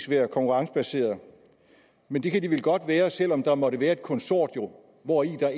være konkurrencebaseret men det kan de vel godt være selv om der måtte være et konsortium hvori der